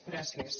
gràcies